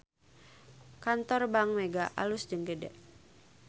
Kantor Bank Mega alus jeung gede